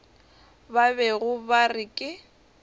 ba bego ba re ke